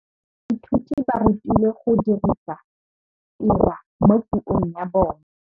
Baithuti ba rutilwe go dirisa tirwa mo puong ya bone.